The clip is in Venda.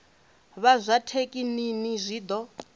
vha zwa thekinini zwi ḓo